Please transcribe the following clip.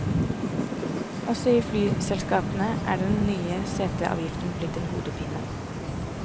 Også i flyselskapene er den nye seteavgiften blitt en hodepine.